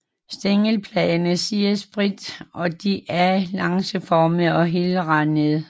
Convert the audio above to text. Stængelbladene sidder spredt og de er lancetformede og helrandede